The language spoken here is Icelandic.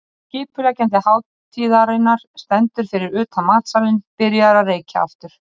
Og skipuleggjandi hátíðarinnar stendur fyrir utan matsalinn, byrjaður að reykja aftur.